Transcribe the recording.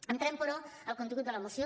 entrem però al contingut de de la moció